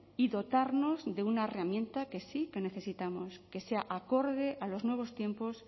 y dotarnos de una herramienta que sí que necesitamos que sea acorde a los nuevos tiempos